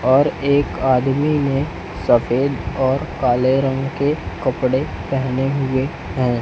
और एक आदमी ने सफेद और काले रंग के कपड़े पहने हुए हैं।